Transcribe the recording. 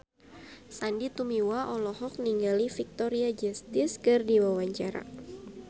Sandy Tumiwa olohok ningali Victoria Justice keur diwawancara